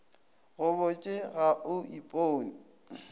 go botše ga o ipone